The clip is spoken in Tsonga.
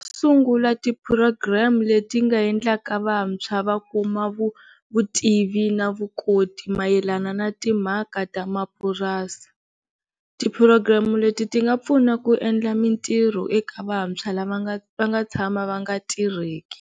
Sungula ti-program leti nga endlaka vantshwa va kuma vutivi na vukoti mayelana na timhaka ta mapurasi, ti-program leti ti nga pfuna ku endla mintirho eka vantshwa lava va nga tshama va nga tirheki.